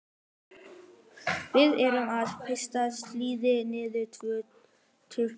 Við erum að veiða síli niður við Tjörn.